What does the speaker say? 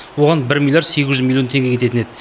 оған бір миллиард сегіз жүз миллион теңге кететін еді